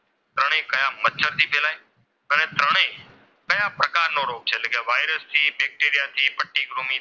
નો રોગ છે એટલે કે વાઈરસથી બેક્ટેરિયા થી કે પટ્ટીકૃમિથી,